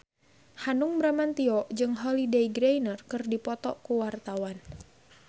Hanung Bramantyo jeung Holliday Grainger keur dipoto ku wartawan